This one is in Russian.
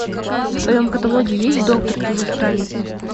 в твоем каталоге есть доктор чужестранец